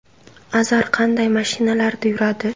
Azar qanday mashinalarda yuradi?